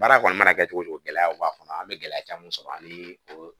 Baara kɔni mana kɛ cogo cogo gɛlɛyaw b'a kɔnɔ an bɛ gɛlɛya caman sɔrɔ an ye o